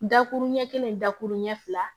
Dakurun ɲɛ kelen dakurun ɲɛ fila